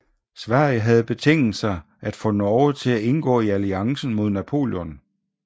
Sverige havde betinget sig at få Norge for at indgå i alliancen mod Napoleon